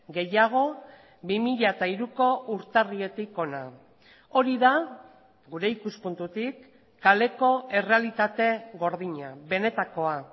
gehiago bi mila hiruko urtarriletik hona hori da gure ikuspuntutik kaleko errealitate gordina benetakoa